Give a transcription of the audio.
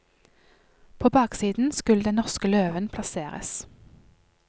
På baksiden skulle den norske løven plasseres.